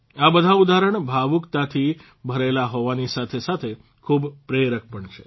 આ બધા ઉદાહરણ ભાવુકતાથી ભરેલા હોવાની સાથેસાથે ખુબ પ્રેરક પણ છે